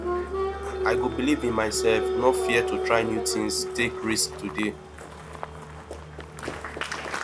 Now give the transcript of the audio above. i go believe in myself no fear to try new things take risks today